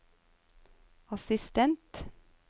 assistent